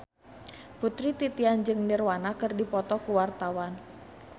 Putri Titian jeung Nirvana keur dipoto ku wartawan